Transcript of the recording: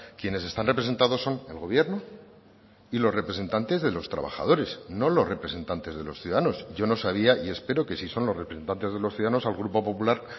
quienes están representados son el gobierno y los representantes de los trabajadores no los representantes de los ciudadanos yo no sabía y espero que si son los representantes de los ciudadanos al grupo popular